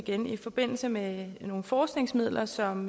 igen i forbindelse med nogle forskningsmidler som